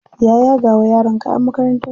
Ya yaga wa yaron kayan makarantar shi.